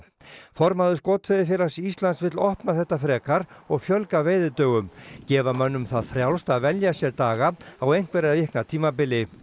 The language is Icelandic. formaður Skotveiðifélags Íslands vill opna þetta frekar og fjölga veiðidögum gefa mönnum það frjálst að velja sér daga á einhverra vikna tímabili